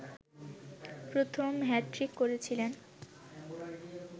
প্রথম হ্যাট্রিক করেছিলেন